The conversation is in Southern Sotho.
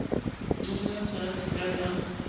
mmangwana o tshwara thipa ka